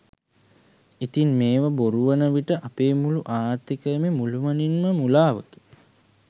ඉතින් මේවා බොරු වන විට අපේ මුළු ආර්ථීකයම මුළුමනින්ම මුලාවකි.